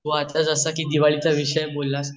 तू आता कि जस की दिवाळीदिवाळीचा विषय बोल ला